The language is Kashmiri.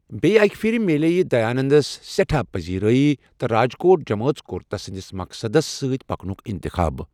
بیٚیہ اکہِ پھرِ، میٛلییہِ دیاننٛدس سٮ۪ٹھاہ پزیٖرٲیی، تہٕ راجکوٹ جمٲژ کوٚر تس سٕنٛدس مقصدس سۭتۍ پکنُک انٛتخاب۔